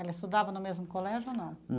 Ela estudava no mesmo colégio ou não?